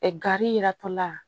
Ɛ gari yiratɔla